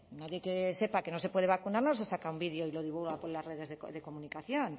nadie que sepa que no se puede vacunar no se saca un vídeo y lo divulga por las redes de comunicación